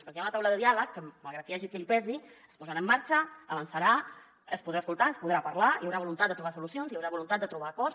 perquè hi ha una taula de diàleg que malgrat que hi hagi qui li pesi es posarà en marxa avançarà es podrà escoltar es podrà parlar hi haurà voluntat de trobar solucions i hi haurà voluntat de trobar acords